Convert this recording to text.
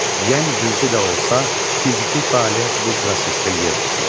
Yəni cüzi də olsa, fiziki fəaliyyət bu prosesdə yer tutur.